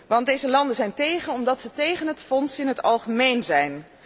Want deze landen zijn tegen, omdat zij tegen het fonds in het algemeen zijn.